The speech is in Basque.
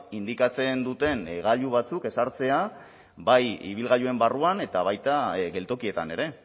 indikatzen duten gailu batzuk ezartzea bai ibilgailuen barruan eta baita geltokietan ere